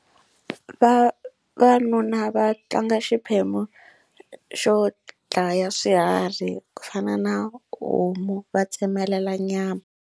Vavanuna va tlanga xiphemu xo dlaya swiharhi ku fana na homu va tsemelela nyama.